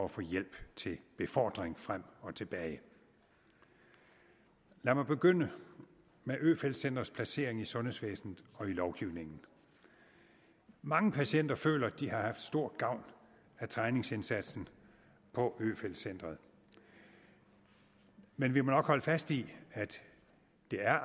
at få hjælp til befordring frem og tilbage lad mig begynde med øfeldt centrets placering i sundhedsvæsenet og i lovgivningen mange patienter føler at de har haft stor gavn af træningsindsatsen på øfeldt centret men vi må nok holde fast i at det